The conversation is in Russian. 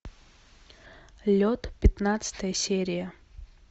лед пятнадцатая серия